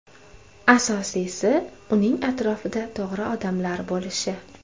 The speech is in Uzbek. Asosiysi, uning atrofida to‘g‘ri odamlar bo‘lishi.